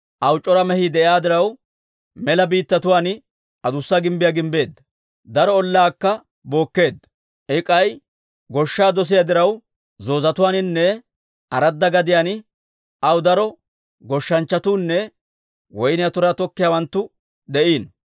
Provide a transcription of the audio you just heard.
Aw c'ora mehii de'iyaa diraw, mela biittatuwaan adussa gimbbiyaa gimbbeedda; daro ollaakka bookkeedda. I k'ay goshshaa dosiyaa diraw, zoozetuwaaninne aradda gadiyaan aw daro goshshanchchatuunne woyniyaa turaa tokkiyaawanttu de'iino.